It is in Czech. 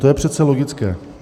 To je přece logické.